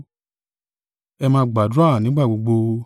Ẹ máa gbàdúrà nígbà gbogbo.